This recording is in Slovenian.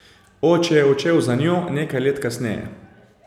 Oče je odšel za njo nekaj let kasneje.